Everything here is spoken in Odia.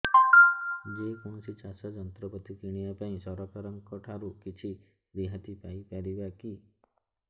ଯେ କୌଣସି ଚାଷ ଯନ୍ତ୍ରପାତି କିଣିବା ପାଇଁ ସରକାରଙ୍କ ଠାରୁ କିଛି ରିହାତି ପାଇ ପାରିବା କି